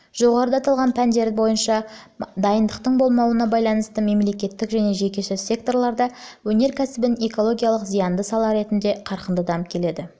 жоғарыда аталған пәндер бойынша дайындықтың болмауына байланысты мемлекеттік және жекеше секторларда өнеркәсібін экологиялық зиянды сала ретінде қарқынды дамып келеді